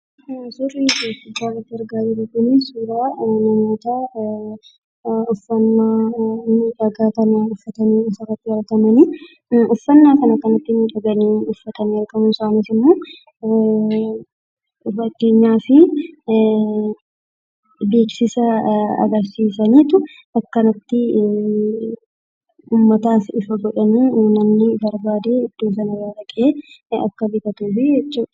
Suurri addanatti argaa jirru kun suuraa namootaa uffata miidhagaa uffatanii asirratti argamanii. Uffannaa kana kan uffatanii argaman beeksisa agarsiisaniitu akkanatti uummataaf ifa godhanii uummanni barbaadee iddoo kana gaafatee akka bitatuufi jechuudha.